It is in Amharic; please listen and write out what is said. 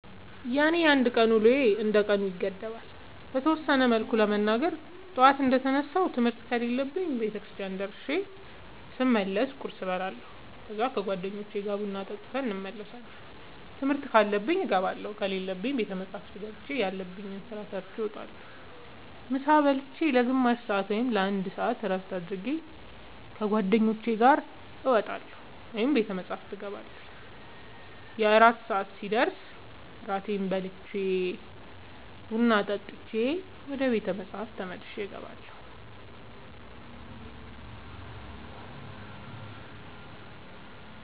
የኔ የአንድ ቀን ውሎዬ እንደ ቀኑ ይገደባል። በተወሰነ መልኩ ለመናገር ጠዋት እንደ ተነሳሁ ትምህርት ከሌለብኝ ቤተክርስቲያን ደርሼ ስመለስ ቁርስ እበላለሁ ከዛ ከ ጓደኞቼ ጋር ቡና ጠጥተን እንመለሳለን ትምህርት ካለብኝ እገባለሁ ከሌለብኝ ቤተ መፅሐፍ ገብቼ ያለብኝን ስራ ሰርቼ እወጣለሁ። ምሳ ብልቼ ለ ግማሽ ሰአት ወይም ለ አንድ ሰአት እረፍት አድርጌ ከ ጓደኞቼ ጋር እወጣለሁ ወይም ቤተ መፅሐፍ እገባለሁ። የእራት ሰአት ሲደርስ እራቴን በልቼ ቡና ጠጥቼ ወደ ቤተ መፅሐፍ ተመልሼ እገባለሁ።